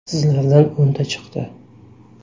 Sizlardan o‘nta chiqdi.